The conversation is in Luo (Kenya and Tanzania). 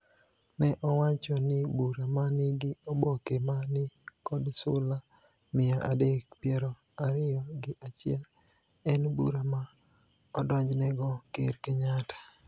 ne owacho ni bura ma nigi oboke ma ni kod sula mia adek piero ariyo gi achiel en bura ma odonjnego Ker Kenyatta.